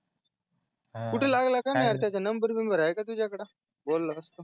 हा कुठे लागला कय माहिती त्याच्या नंबर वगेरे आहे काय तुज्या कडे बोललो असतो